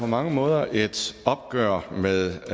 på mange måder et opgør med